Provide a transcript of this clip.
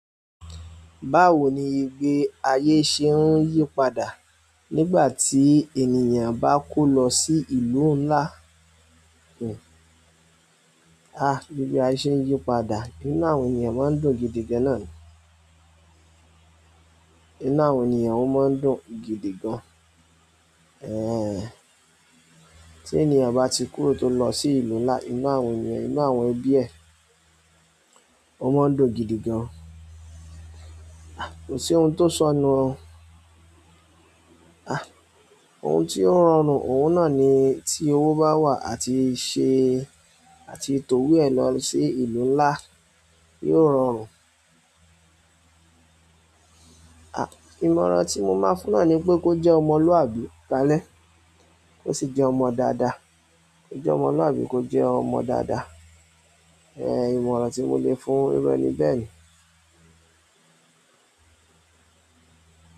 Báwo ní ìgbé ayé ṣe ń yí padà nígbà ti ènìyàn bá ko lọ sí ìlú nlá à, ìgbé ayé ṣe ń yí padà. Inú àwọn ènìyàn máa ń dùn gidigan náà ni. Inú àwọn ènìyàn ó máa ń dùn gidigan. Ẹhn ti ènìyàn bá ti kúrò tó lọ sí ìlú nlá, inú àwọn ènìyàn inú àwọn ẹbí ẹ o má n dùn gidi gan. Kòsí ohùn ti o sọnu o ah ohun tí ó rọrùn, òun náà ni tí owó bá wà àti ì ṣe, àti tò ìwé ẹ lọ sí ìlú ńlá, yóò rọrùn. À, ìmọ̀ràn tí mo máa fún un náà ni pé kó jẹ́ ọmọlúàbí kalẹ́ kó sì jẹ́ ọmọ dáadáa. Ó jẹ́ ọmọlúàbí kó jẹ́ ọmọ dáadáa. Ehn, ìmọ̀ràn tí mo lè fún un ni bẹ́ẹ̀ ni.